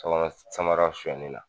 Samara samara soɲɛnen na